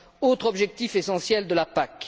autre objectif essentiel de la PAC.